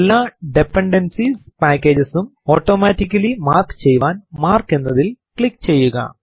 എല്ലാ dependencies packages ഉം automatically mark ചെയ്യാൻ മാർക്ക് എന്നതിൽ ക്ലിക്ക് ചെയ്യുക